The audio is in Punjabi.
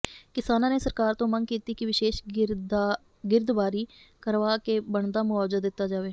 ਕਿਸਾਨਾਂ ਨੇ ਸਰਕਾਰ ਤੋਂ ਮੰਗ ਕੀਤੀ ਕਿ ਵਿਸ਼ੇਸ ਗਿਰਦਵਾਰੀ ਕਰਵਾ ਕੇ ਬਣਦਾ ਮੁਆਵਜ਼ਾ ਦਿੱਤਾ ਜਾਵੇ